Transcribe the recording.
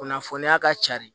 Kunnafoniya ka ca de